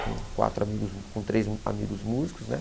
Com quatro amigos com três amigos músicos, né?